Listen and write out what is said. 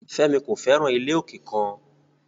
Femi ko fẹran ile oke kan